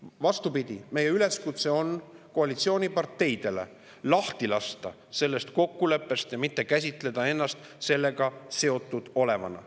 Vastupidi, meie üleskutse koalitsiooniparteidele on lasta lahti sellest kokkuleppest ja mitte käsitleda ennast sellega seotud olevana.